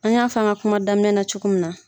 An y'a f'an ga kuma daminɛna cogo min na